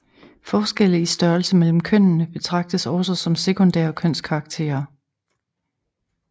Forskelle i størrelse mellem kønnene betragtes også som sekundære kønskarakterer